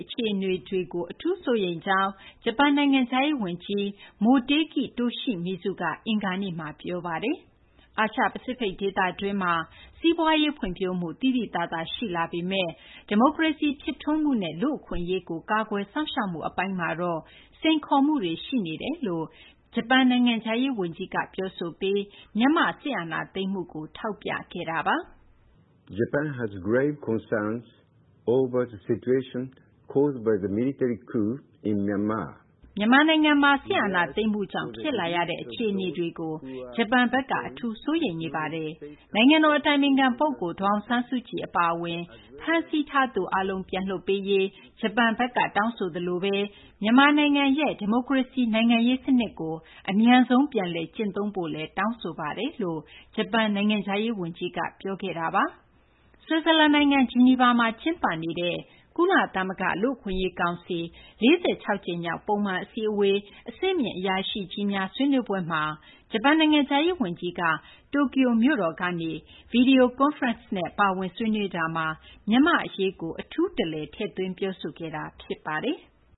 အခြေအနေတွေအပေါ် အထူးစိုးရိမ်မိကြောင်းဂျပန် နိုင်ငံခြားရေး ဝန်ကြီး Motegi Toshimitsu က အင်္ဂါနေ့မှာ ပြောလိုက်ပါတယ်။ အာရှ ပစိဖိတ်ဒေသတွင်းမှာ စီးပွားရေး ဖွံ့ဖြိုးမှု သိသိသာသာ ရှိလာပေမယ့် ဒီမိုကရေစီ ဖြစ်ထွန်းမှုနဲ့ လူ့အခွင့်အရေးကို ကာကွယ်စောင့်ရှောက်မှု အပိုင်းမှာတော့ စိန်ခေါ်မှုတွေ ရှိနေပါတယ်လို့လည်း ဂျပန်နိုင်ငံခြားရေးဝန်ကြီးက ပြောဆိုပြီး မြန်မာ့ စစ်အာဏာသိမ်းမှုကိုလည်း ထောက်ပြခဲ့တာပါ။ "မြန်မာနိုင်ငံမှာ စစ်အာဏာသိမ်းမှုကြောင့် ဖြစ်လာရတဲ့ အခြေအနေတွေကို ဂျပန်ဘက်က အထူးစိုးရိမ်နေပါတယ်။ နိုင်ငံတော် အတိုင်ပင်ခံ ပုဂ္ဂိုလ် ဒေါ်အောင်ဆန်းစုကြည် အပါအဝင် ဖမ်းစီးထားသူ အားလုံး ပြန်လွှတ်ပေးရေး ဂျပန်ဘက်က တောင်းဆိုသလိုဘဲ မြန်မာနိုင်ငံရဲ့ ဒီမိုကရေစီ နိုင်ငံရေး စနစ်ကို အမြန်ဆုံး ပြန်လည် ကျင့်သုံးဖို့လည်း တောင်းဆိုပါတယ်" လို့ ဂျပန် နိုင်ငံခြားရေး ဝန်ကြီးက ပြောခဲ့တာပါ။ ဆွစ်ဇာလန် နိုင်ငံ ဂျီနီဗာမှာ ကျင်းပနေတဲ့ ကုလသမဂ္ဂ လူ့အခွင့်အရေးကောင်စီ ၄၆ ကြိမ်မြောက် ပုံမှန် အစည်းအဝေး အဆင့်မြင့် အရာရှိကြီးများ ဆွေးနွေးပွဲမှာ ဂျပန် နိုင်ငံခြားရေး ဝန်ကြီးက တိုကျိုမြို့တော်ကနေ ဗွီဒီယို ကွန်းဖရင့်စ်နဲ့ ပါဝင် ဆွေးနွေးတာမှာ မြန်မာ့အရေး အထူးတလည် ထည့်သွင်း ပြောဆိုခဲ့တာ ဖြစ်ပါတယ်။